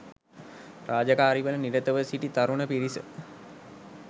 රාජකාරිවල නිරතව සිටි තරුණ පිරිස